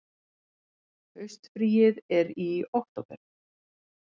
Haustfríið er í október.